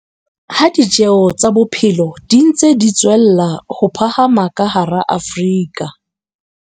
Ha ditjeo tsa bophelo di ntse di tswella ho phahama ka hara Afrika.